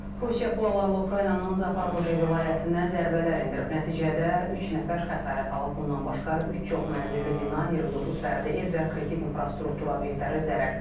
Rusiya PUA-larla Ukraynanın Zaporojye vilayətinə zərbələr endirib, nəticədə üç nəfər xəsarət alıb, bundan başqa üç çoxməzilli bina, 29 fərdi ev və kritik infrastruktur obyektləri zərər görüb.